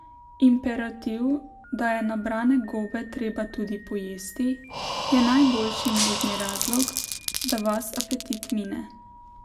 Imperativ, da je nabrane gobe treba tudi pojesti, je najboljši možni razlog, da vas apetit mine.